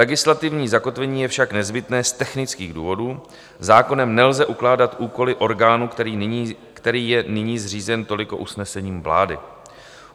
Legislativní zakotvení je však nezbytné z technických důvodů, zákonem nelze ukládat úkoly orgánů, který je nyní zřízen toliko usnesením vlády.